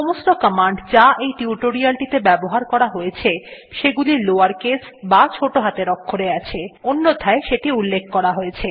সমস্ত কমান্ড যা এই টিউটোরিয়ালটিতে ব্যবহার করা হয়ছে সেগুলি লাওয়ার কেস বা ছোটো হাতের অক্ষরে আছে অন্যথায় সেটি উল্লেখ করা হয়েছে